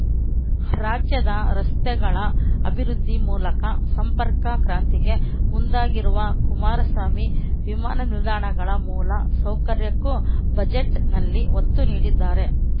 ರಾಜ್ಯದ ರಸ್ತೆಗಳ ಅಭಿವೃದ್ಧಿ ಮೂಲಕ ಸಂಪರ್ಕ ಕ್ರಾಂತಿಗೆ ಮುಂದಾಗಿರುವ ಕುಮಾರಸ್ವಾಮಿ ವಿಮಾನ ನಿಲ್ದಾಣಗಳ ಮೂಲ ಸೌಕರ್ಯಕ್ಕೂ ಬಜೆಟ್‌ನಲ್ಲಿ ಒತ್ತು ನೀಡಿದ್ದಾರೆ